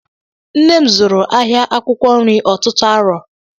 Nne m zụrụ ahịa akwụkwọ nri ọtụtụ aro